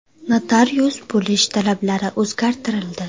Notarius bo‘lish talablari o‘zgartirildi.